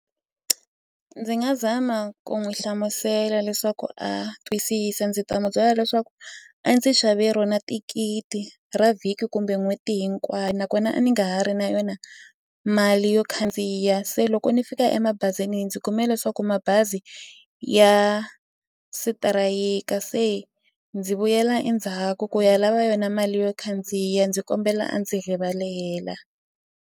Ndzi nga zama ku n'wi hlamusela leswaku a twisisa ndzi ta n'wu byela leswaku a ndzi xave rona thikithi ra vhiki kumbe n'hweti hinkwayo nakona a ni nga ha ri na yona mali yo khandziya se loko ni fika emabazini ndzi kume leswaku mabazi ya sitirayika se ndzi vuyela endzhaku ku ya lava yona mali yo khandziya ndzi kombela a ndzi rivalela.